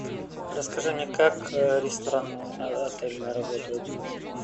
расскажи мне как рестораны отельные работают